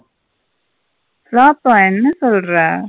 Flop ஆ என்ன சொல்லுற.